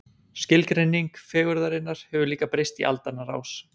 Skilgreining fegurðarinnar hefur líka breyst í aldanna rás.